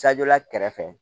Cadɔla kɛrɛfɛ